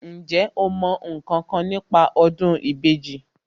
Ǹjẹ́ o mọ ǹkankan nípa ọdún ìbejì